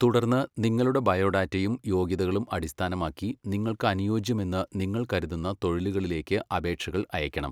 തുടർന്ന്, നിങ്ങളുടെ ബയോഡാറ്റയും യോഗ്യതകളും അടിസ്ഥാനമാക്കി നിങ്ങൾക്ക് അനുയോജ്യമെന്ന് നിങ്ങൾ കരുതുന്ന തൊഴിലുകളിലേക്ക് അപേക്ഷകൾ അയയ്ക്കണം.